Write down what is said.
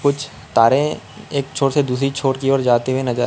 कुछ तारे एक छोर से दूसरी छोर की ओर जाते हुए नजर--